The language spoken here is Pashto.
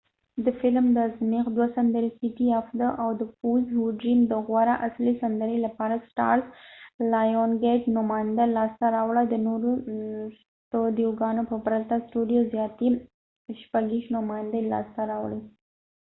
د فیلم د ازمایښت دوه سندرې the fools who dream او city of stars د غوره اصلي سندرې لپاره نوماندۍ لاسته راوړه. د lionsgate studio د نورو ستودیوګانو په پرتله زیاتې 26 نوماندۍ لاسته راوړې